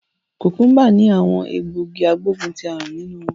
Kukumba ni awon egbogi agboguntiarun ninu won